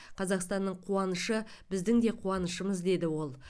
қазақстанның қуанышы біздің де қуанышымыз деді ол